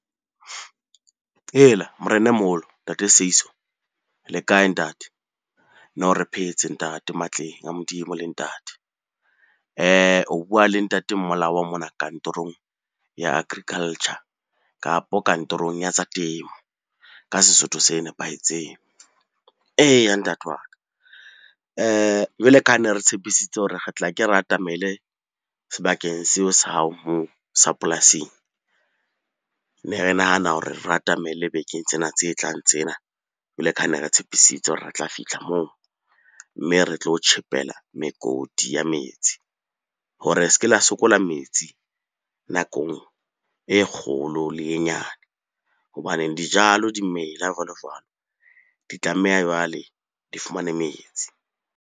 Hela Morena e moholo, Ntate Seiso le kae ntate? No, re phetse ntate matleng a Modimo le ntate. O bua le Ntate Mmolawa mona kantorong ya Agriculture, kapo kantorong ya tsa temo ka Sesotho se nepahetseng. Eya ntate wa ka, jwale ka ha ne re tshepisitse hore re tla ke re atamele sebakeng seo sa hao moo sa polasing. Ne re nahana hore re atamele bekeng tsena tse tlang tsenan jwale ka ha ne re tshepisitse hore re tla fitlha moo, mme re tlo o tjhepela mekoti ya metsi hore se ke la sokola metsi nakong e kgolo le e nyane. Hobaneng dijalo di mela, jwalo-jwalo di tlameha jwale di fumane metsi.